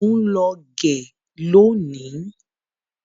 Mọ ń lọ gẹ lónìí.